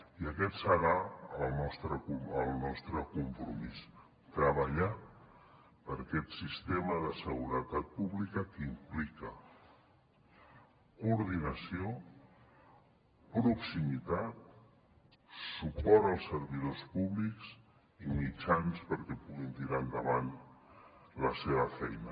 i aquest serà el nostre compromís treballar per aquest sistema de seguretat pública que implica coordinació proximitat suport als servidors públics i mitjans perquè puguin tirar endavant la seva feina